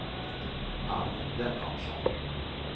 Ann Lennartsson